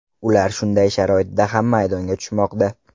Ular shunday sharoitda ham maydonga tushmoqda.